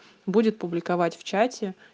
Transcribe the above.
будет публиковать в чате